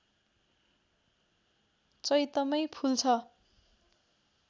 चैतमै फुल्छ